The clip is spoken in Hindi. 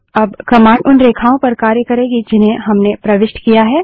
अब कमांड उन रेखाओं पर कार्य करेगी जिन्हें हमने प्रविष्ट किया है